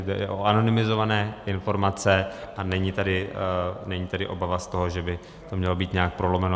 Jde o anonymizované informace a není tady obava z toho, že by to mělo být nějak prolomeno.